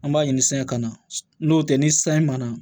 An b'a ɲini san kana n'o tɛ ni san ye ma na